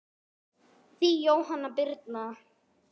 Þín Jóhanna Birna.